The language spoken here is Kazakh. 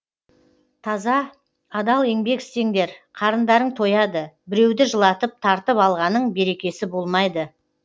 таза адал еңбек істеңдер қарындарың тояды біреуді жылатып тартып алғаның берекесі болмайды